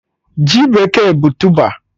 Ji bekee bụ tụba